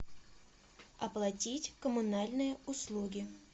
оплатить коммунальные услуги